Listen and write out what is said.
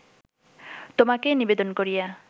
তোমাকে নিবেদন করিয়া